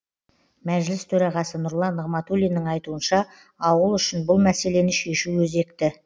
мәжіліс төрағасы нұрлан нығматулиннің айтуынша ауыл үшін бұл мәселені шешу өзекті